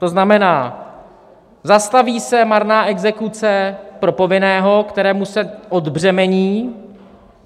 To znamená, zastaví se marná exekuce pro povinného, kterému se odbřemení.